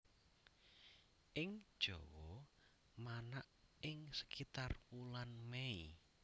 Ing Jawa manak ing sekitar wulan Mei